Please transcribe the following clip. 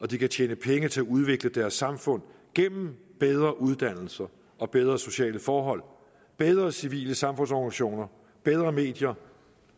de kan tjene penge til at udvikle deres samfund gennem bedre uddannelser og bedre sociale forhold bedre civile samfundsorganisationer bedre medier